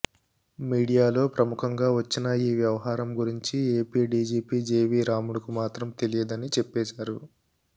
మీడియాలో ప్రముఖంగా వచ్చిన ఈ వ్యవహరం గురించి ఏపీ డీజీపీ జేవీ రాముడుకు మాత్రం తెలీదని చెప్పేశారు